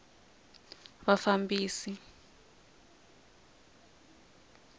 vafambisi